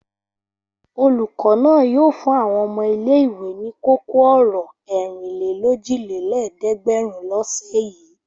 Olùkọ́ náà yóò fún àwọn ọmọ ilé-ìwé ní kókó-ọ̀rọ̀ ẹ̀rìnlélójìlélẹ́ẹ̀dẹ́gbẹ̀rún lọ́sẹ̀ yìí.